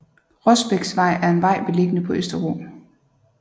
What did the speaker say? Rosbæksvej er en vej beliggende på Østerbro